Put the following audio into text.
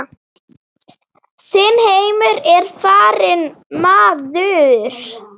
Þinn heimur er farinn maður.